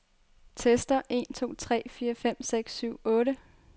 Tester en to tre fire fem seks syv otte.